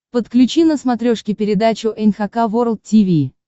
подключи на смотрешке передачу эн эйч кей волд ти ви